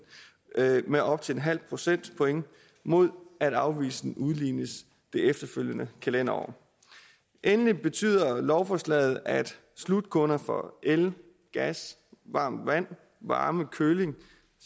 med op til et halvt procentpoint mod at afvigelsen udlignes i det efterfølgende kalenderår endelig betyder lovforslaget at slutkunder for el gas varmt vand varme og køling